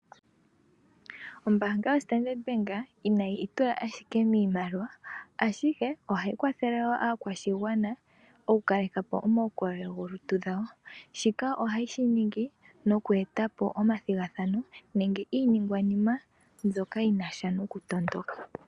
Ombanga yoStandard Bank inayi itula ashike miimaliwa ashike ohayi kwathele wo aakwashigwana oku kale kapo omaukolele gomalutu gawo. Shika ohaye shi ningi moku etapo omathigathano nenge iinigwanima mbyoka yinasha noku tondoka.